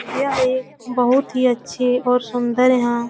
यह एक बहुत ही अच्छे और सुन्दर यहाँ --